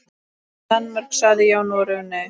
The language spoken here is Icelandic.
Danmörk sagði já, Noregur nei.